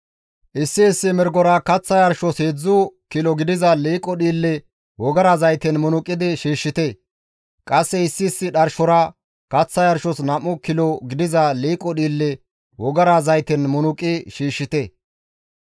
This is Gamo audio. Issi issi mirgora kaththa yarshos 3 kilo gidiza liiqo dhiille wogara zayten munuqidi shiishshite; qasse issi issi dharshora kaththa yarshos 2 kilo gidiza liiqo dhiille wogara zayten munuqi shiishshite.